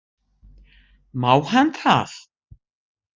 Má hann það?